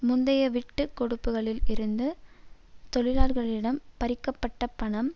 முந்தைய விட்டுகொடுப்புகளில் இருந்து தொழிலாளர்களிடம் பறிக்க பட்ட பணம்